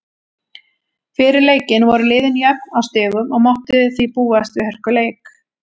Fyrir leikinn voru liðin jöfn á stigum og mátti því búast við hörkuleik.